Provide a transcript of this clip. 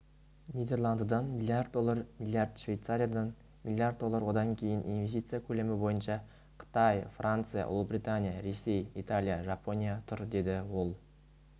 нидерландыдан млрд доллар млрд швейцариядан млрд доллар одан кейін инвестиция көлемі бойынша қытай франция ұлыбритания ресей италия жапония тұр деді ол